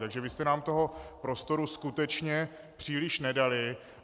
Takže vy jste nám toho prostoru skutečně příliš nedali.